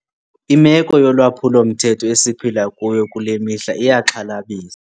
Imeko yolwaphulo-mthetho esiphila kuyo kule mihla iyaxhalabisa.